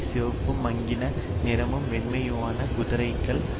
சிவப்பும் மங்கின நிறமும் வெண்மையுமான குதிரைகள் இருந்தன